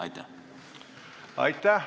Aitäh!